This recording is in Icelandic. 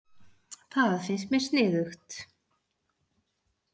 Það finnst mér sniðugt.